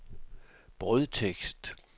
brødtekst